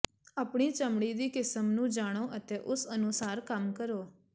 ਆਪਣੀ ਚਮੜੀ ਦੀ ਕਿਸਮ ਨੂੰ ਜਾਣੋ ਅਤੇ ਉਸ ਅਨੁਸਾਰ ਕੰਮ ਕਰੋ